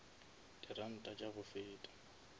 di ranta tša go feta